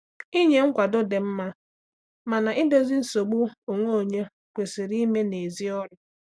Ịnye nkwado dị mma, mana idozi nsogbu onwe onye kwesịrị ime n’èzí ọrụ.